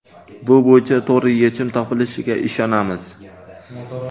Bu bo‘yicha to‘g‘ri yechim topilishiga ishonamiz.